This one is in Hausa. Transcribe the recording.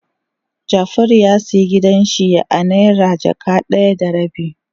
Jafaru ya siya gidan shi a naira jaka daya da rabi.